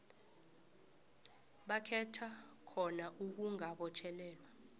bakhetha khona ukungabotjhelelwa